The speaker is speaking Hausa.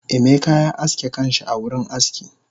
Emeka ya aske kanshi a wurin aski